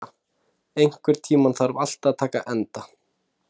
Sera, einhvern tímann þarf allt að taka enda.